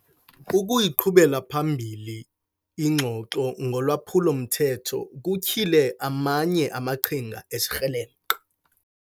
Ukuyiqhubela phambili ingxoxo ngolwaphulo-mthetho kutyhile amanye amaqhinga ezikrelemnqa.